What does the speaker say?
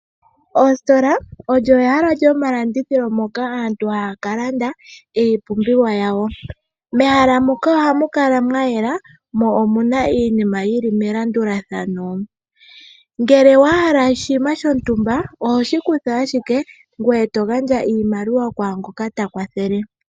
Oositola olyo ehala lyomalandithilo moka aantu haya ka landa iipumbiwa yawo, mehala moka ohamu kala mwa yela mo omuna iinima yili melandulathano. Ngele wa hala oshinima shontumba ohoshi kutha ashike ngoye to gandja iimaliwa kwangoka ta kwathele.